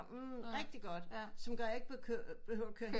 Rigtigt godt som gør jeg ikke behøver køre hen